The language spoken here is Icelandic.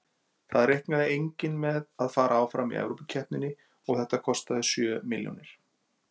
Það reiknaði enginn með að fara áfram í Evrópukeppninni og þetta kostaði sjö milljónir.